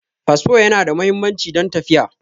Fasfo Yana da muhimmanci don tafiya